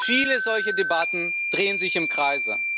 Viele solcher Debatten drehen sich im Kreis.